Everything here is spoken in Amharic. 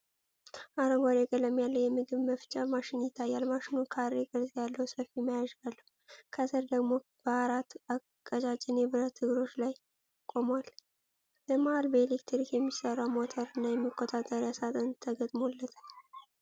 አረንጓዴ ቀለም ያለው የምግብ መፍጫ ማሽን ይታያል። ማሽኑ ካሬ ቅርጽ ያለው ሰፊ መያዣ አለው። ከስር ደግሞ በአራት ቀጫጭን የብረት እግሮች ላይ ቆሟል። በመሃል በኤሌክትሪክ የሚሰራ ሞተር እና የመቆጣጠሪያ ሳጥን ተገጥሞለታል።